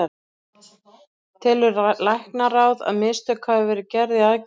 Telur læknaráð, að mistök hafi verið gerð í aðgerðinni?